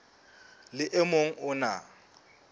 le o mong o na